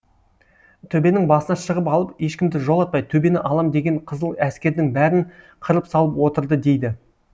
төбенің басына шығып алып ешкімді жолатпай төбені алам деген қызыл әскердің бәрін қырып салып отырды дейді